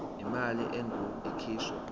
imali engur ikhishwa